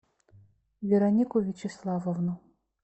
веронику вячеславовну